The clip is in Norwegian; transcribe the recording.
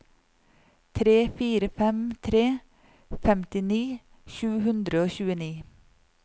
tre fire fem tre femtini sju hundre og tjueni